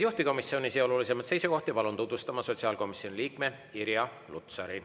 Juhtivkomisjoni otsuseid ja olulisimaid seisukohti palun tutvustama sotsiaalkomisjoni liikme Irja Lutsari.